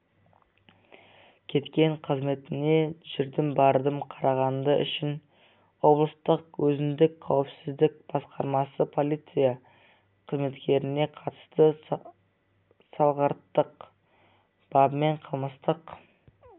кеткен қызметіне жүрдім-бардым қарағаны үшін облыстық өзіндік қауіпсіздік басқармасы полиция қызметкеріне қатысты салғырттық бабымен қылмыстық